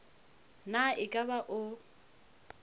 na e ka ba o